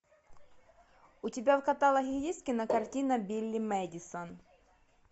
у тебя в каталоге есть кинокартина билли мэдисон